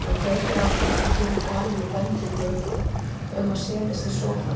Hann kveikir á því og gefur Galinu bendingu um að setjast í sófann.